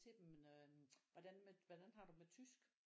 Til dem øh hvordan hvordan har du det med tysk